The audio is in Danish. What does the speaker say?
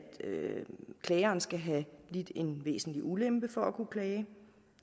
klageren skal have lidt en væsentlig ulempe for at kunne klage